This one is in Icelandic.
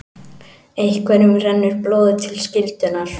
Einhverjum rennur blóðið til skyldunnar